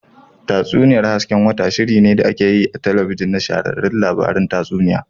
Tatsuniyar hasken wata, shirinne da ake yi a talabijin na shahararren labarun tatsuniya.